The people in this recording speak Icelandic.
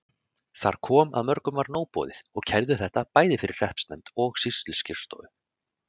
Þar kom að mörgum var nóg boðið og kærðu þetta, bæði fyrir hreppsnefnd og sýsluskrifstofu.